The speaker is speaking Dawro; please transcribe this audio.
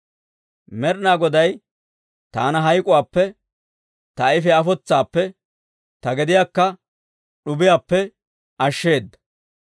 Med'inaa Goday taana hayk'k'uwaappe, ta ayifiyaa afotsaappe, ta gediyaakka d'ubiyaappe ashsheedda.